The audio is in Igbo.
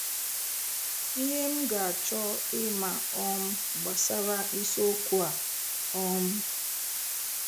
⇩Ihe m ga-achọ ịma um gbasara isiokwu a: um